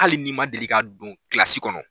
Hali n'i ma deli ka don kilasi kɔnɔ.